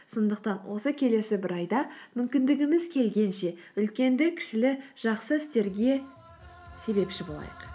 сондықтан осы келесі бір айда мүмкіндігіміз келгенше үлкенді кішілі жақсы істерге себепші болайық